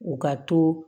U ka to